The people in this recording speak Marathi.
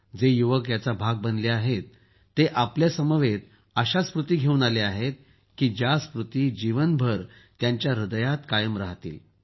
जे युवक याचा भाग बनले आहेत ते आपल्यासमवेत अशा स्मृती घेऊन आले आहेत की ज्या स्मृती जीवनभर त्यांच्या ह्रदयात कायम रहातील